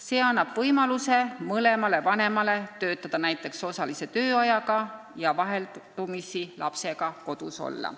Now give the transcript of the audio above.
See annab mõlemale vanemale võimaluse töötada näiteks osalise tööajaga ja vaheldumisi lapsega kodus olla.